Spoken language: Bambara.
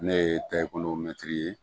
Ne ye mɛtiri ye